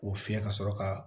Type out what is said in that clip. O fiyɛ ka sɔrɔ ka